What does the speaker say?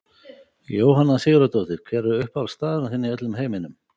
Jóhanna Sigurðardóttir Hver er uppáhaldsstaðurinn þinn í öllum heiminum?